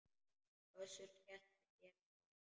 Össur skellti sér á lær.